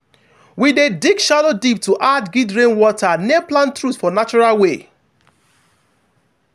we dey dig shallow deep to add guild rainwater near plant root for natural way.